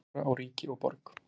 Skora á ríki og borg